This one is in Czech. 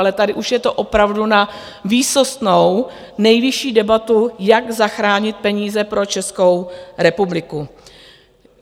Ale tady už je to opravdu na výsostnou nejvyšší debatu, jak zachránit peníze pro Českou republiku.